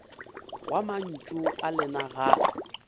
wa mantšu a lena ga